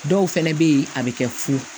Dɔw fɛnɛ be ye a be kɛ fu